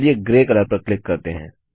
चलिए grey colour पर click करते हैं